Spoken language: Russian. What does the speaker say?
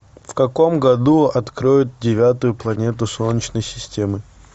в каком году откроют девятую планету солнечной системы